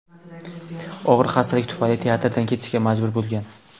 Og‘ir xastalik tufayli teatrdan ketishga majbur bo‘lgan.